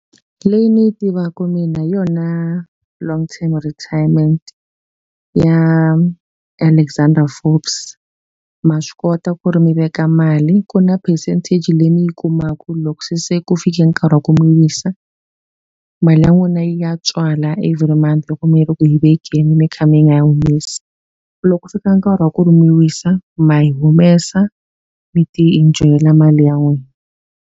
Leyi ni yi tivaku mina hi yona long term retirement ya Alexandra Forbes. Ma swi kota ku ri mi veka mali, ku na percentage leyi mi yi kumaka. Loko se ku fika ka nkarhi wa ku mi wisa, mali ya n'wina yi ya tswala every month loko mi ri ku yi vekeni mi kha mi nga yi humesi. Loko ku fika nkarhi wa ku ri mi wisa ma yi humesa mi ti-enjoy-ela mali ya n'wina.